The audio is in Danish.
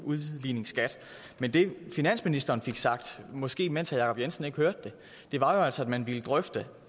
udligningsskat men det finansministeren fik sagt det måske mens herre jacob jensen ikke hørte det var jo altså at man ville drøfte